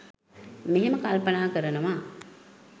මෙහෙම කල්පනා කරනවා.